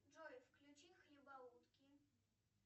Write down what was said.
джой включи хлебоутки